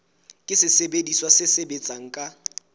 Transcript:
ke sesebediswa se sebetsang ka